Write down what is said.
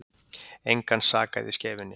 Engan sakaði í Skeifunni